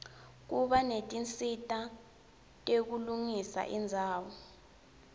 kuba netinsita tekulungisa indzawo